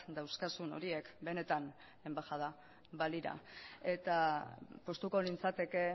dauzkazun horiek benetan enbaxada balira eta poztuko nintzateke